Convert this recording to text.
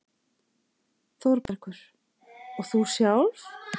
ÞÓRBERGUR: Og þú sjálf?